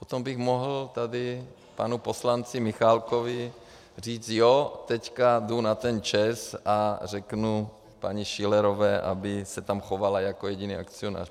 Potom bych mohl tady panu poslanci Michálkovi říct: Jo, teď jdu na ten ČEZ a řeknu paní Schillerové, aby se tam chovala jako jediný akcionář.